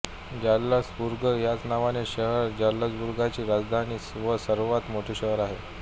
Salzburg ह्याच नावाचे शहर जाल्त्सबुर्गची राजधानी व सर्वात मोठे शहर आहे